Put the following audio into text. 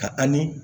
Ka an ni